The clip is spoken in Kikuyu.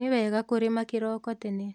Nĩ wega kũrĩma kĩroko tene